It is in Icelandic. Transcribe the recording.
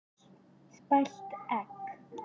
Spælt egg.